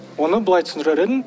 оны былай түсіңдірер едім